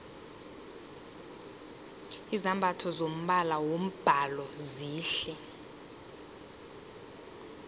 izambatho zombala wombhalo zihle